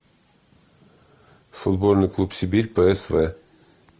футбольный клуб сибирь псв